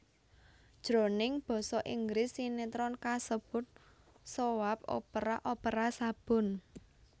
Jroning basa Inggris sinétron kasebut soap opera opera sabun